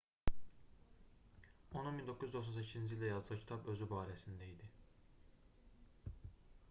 onun 1998-ci ildə yazdığı kitab özü barəsində idi